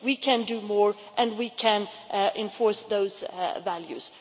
We can do more and we can enforce those values.